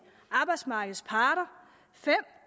arbejdsmarkedets parter fem